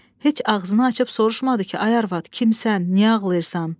Heç ağzını açıb soruşmadı ki, ay arvad, kimsən, niyə ağlayırsan?